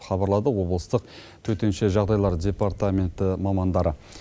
хабарлады облыстық төтенше жағдайлар департаменті мамандары